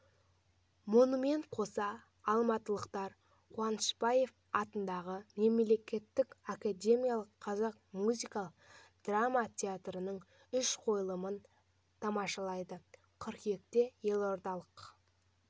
мұнымен қоса алматылықтар қуанышбаев атындағы мемлекеттік академиялық қазақ музыкалық драма театрының үш қойылымын тамашалайды қыркүйекте елордалық